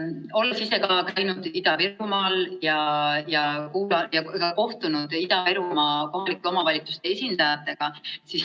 Olen ise ka käinud Ida-Virumaal ja kohtunud Ida-Virumaa kohalike omavalitsuste esindajatega.